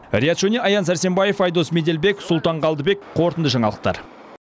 риат шони аян сәрсенбаев айдос меделбек сұлтан қалдыбек қорытынды жаңалықтар